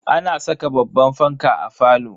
Ana saka babban fanka a falo.